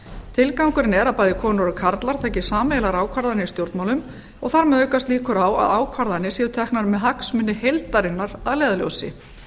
tilgangurinn er að bæði konur og karlar taki sameiginlegar ákvarðanir í stjórnmálum og þar með aukast líkur á að ákvarðanir séu teknar með hagsmuni heildarinnar að leiðarljósi